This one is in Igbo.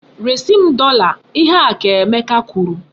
Resi m dọla! Ihe a ka Emeka kwuru!